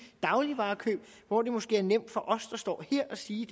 dagligvarekøb hvor det måske er nemt for os der står her at sige